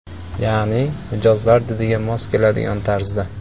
Ya’ni mijozlar didiga mos keladigan tarzda.